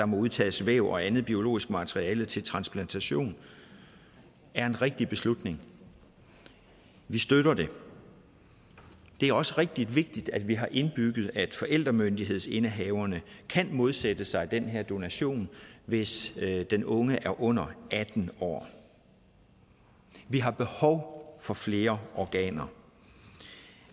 må udtages væv og andet biologisk materiale til transplantation er en rigtig beslutning vi støtter det det er også rigtig vigtigt at vi har indbygget at forældremyndighedsindehaverne kan modsætte sig den her donation hvis den unge er under atten år vi har behov for flere organer